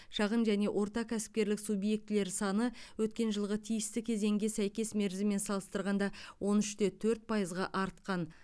шағын және орта кәсіпкерлік субъектілер саны өткен жылғы тиісті кезеңге сәйкес мерзімімен салыстырғанда он үш те төрт пайызға артқан